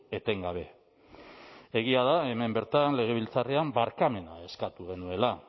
etengabe egia da hemen bertan legebiltzarrean barkamena eskatu genuela